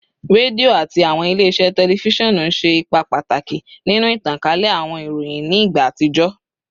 Redio ati awọn ile-iṣẹ tẹlifisiọnu ṣe ipa pataki ninu itankale awọn iroyin ni igba atijọ